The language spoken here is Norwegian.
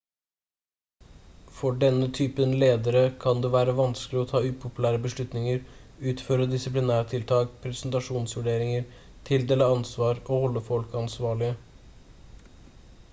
for denne typen ledere kan det være vanskelig å ta upopulære beslutninger utføre disiplinærtiltak prestasjonsvurderinger tildele ansvar og holde folk ansvarlige